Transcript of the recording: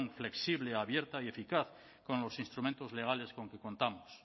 flexible abierta y eficaz con los instrumentos legales con que contamos